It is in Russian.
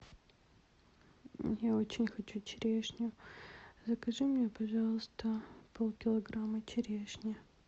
я очень хочу черешню закажи мне пожалуйста пол килограмма черешни